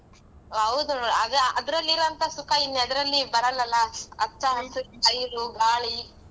ಹೌದು ನೋಡ್ ಅದ್ರ~ ಅದ್ರಲ್ಲಿರುವಂಥ ಸುಖ ಇನ್ನೆದ್ರಲ್ಲಿ ಬರಲಲ್ಲ ಹಚ್ಚ ಹಸಿರ ನೀರು, ಗಾಳಿ.